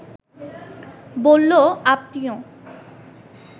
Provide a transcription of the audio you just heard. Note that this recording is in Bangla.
বলল, আপনিও